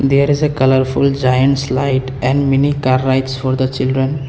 there is a colourful giants slide and mini car rides for the children.